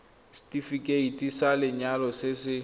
setefikeiti sa lenyalo se se